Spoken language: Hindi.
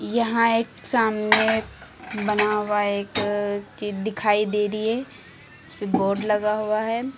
यहां एक सामने बना हुआ एक चीज दिखाई दे रही है जिसपे बोर्ड लगा हुआ है।